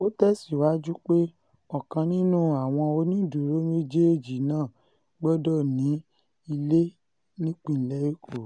ó tẹ̀síwájú pé ọ̀kan nínú àwọn onídùúró méjèèjì náà gbọ́dọ̀ ní ilé nípínlẹ̀ èkó